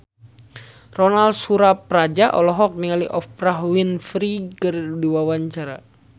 Ronal Surapradja olohok ningali Oprah Winfrey keur diwawancara